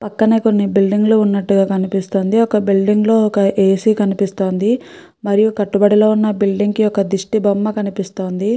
పక్కన కొన్ని బిల్డింగ్ లు ఉన్నట్టుగా కనిపిస్తుంది. ఒక బిల్డింగ్ లో ఒక ఏసి కనిపిస్తుంది. మరియు కట్టుబడి లో ఉన్న ఒక బిల్డింగ్ కి దిష్టి బొమ్మ కనిపిస్తుంది.